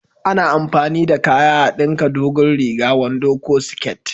A na amfani da kaya a dinka dogon riga, wando ko siket